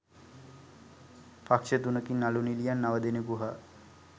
පක්ෂ තුනකින් නළු නිළියන් නව දෙනෙකු හා